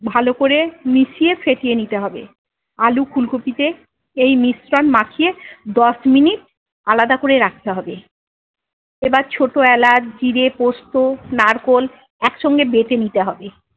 ভালোকরে মিশিয়ে ফেটিয়ে নিতে হবে। আলু ফুলকপিতে এই মিশ্রণ মাখিয়ে দশ মিনিট আলাদা করে রাখতে হবে। এবার ছোট এলাচ জিরে পোস্তু নারকোল একসঙ্গে বেটে নিতে হবে।